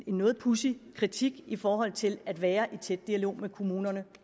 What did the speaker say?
noget pudsig kritik i forhold til at være i tæt dialog med kommunerne